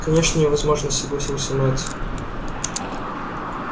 конечно невозможно согласился мэтт